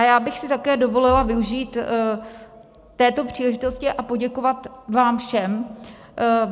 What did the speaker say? A já bych si také dovolila využít této příležitosti a poděkovat vám všem.